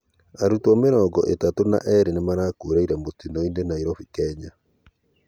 Arũtwo mĩrongo ĩtatũ na eerĩ nĩmarakuĩrĩre mutino-ĩnĩ Nairobi, Kenya